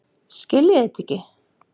Skiljiði þetta ekki?